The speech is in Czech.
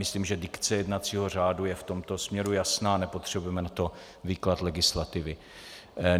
Myslím, že dikce jednacího řádu je v tomto směru jasná, nepotřebujeme na to výklad legislativy.